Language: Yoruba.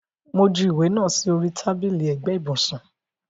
Mo ju ìwé náà sì orí tábìlì ẹ̀gbẹ́ ibùsùn